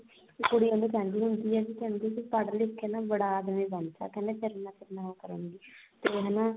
ਇੱਕ ਕੁੜੀ ਉਹਨੂੰ ਕਹਿੰਦੀ ਹੁੰਦੀ ਏ ਵੀ ਪੜ੍ਹ ਲਿਖ ਕੇ ਨਾ ਬੜਾ ਆਦਮੀ ਬਣਜਾ ਕਹਿੰਦੀ ਫਿਰ ਮੈਂ ਤੇਰੇ ਨਾਲ ਉਹ ਕਰੁਂਗੀ ਤੇ ਹਨਾ